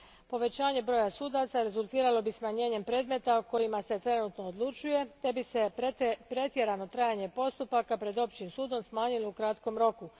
Povećanje broja sudaca rezultiralo bi smanjenjem predmeta o kojima se trenutačno odlučuje te bi se pretjerano trajanje postupaka pred općim sudom smanjilo u kratkom roku.